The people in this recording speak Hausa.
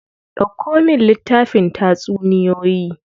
Dauko min littafin tatsuniyoyi.